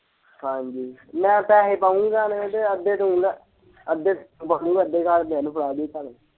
ਹਾਂਜੀ ਮੈਂ ਪੈਹੇ ਪਾਊਗਾ ਨਾ ਤੇ ਅੱਧੇ ਤੂੰ, ਅੱਧੇ ਮੰਮੀ ਨੂੰ ਅੱਧੇ ਘਰਦਿਆਂ ਨੂੰ ਫੜਾ ਦਈ ਭਾਵੇਂ।